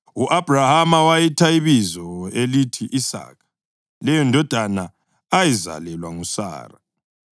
U-Abhrahama wayitha ibizo elithi Isaka leyondodana ayizalelwa nguSara.